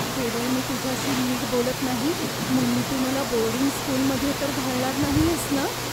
केवळ मी तुझ्याशी नीट बोलत नाही म्हणून तू मला बोर्डिंग स्कूलमध्ये तर घालणार नाहीयेस ना?